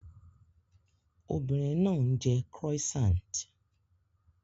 Obìnrin náà ń jẹ croissant